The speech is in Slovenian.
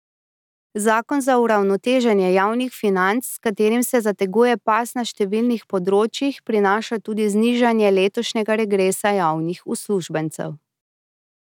Zakon za uravnoteženje javnih financ, s katerim se zateguje pas na številnih področjih, prinaša tudi znižanje letošnjega regresa javnih uslužbencev.